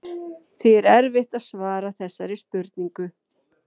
Því er erfitt að svara þessari spurningu.